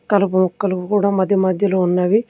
కలుపు మొక్కలు కూడా మధ్య మధ్యలో ఉన్నవి.